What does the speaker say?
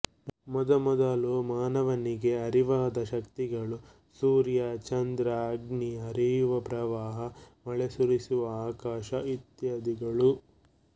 ಮೊದಮೊದಲು ಮಾನವನಿಗೆ ಅರಿವಾದ ಶಕ್ತಿಗಳು ಸೂರ್ಯ ಚಂದ್ರಅಗ್ನಿ ಹರಿಯುವ ಪ್ರವಾಹ ಮಳೆ ಸುರಿಸುವ ಆಕಾಶಇತ್ಯಾದಿಗಳು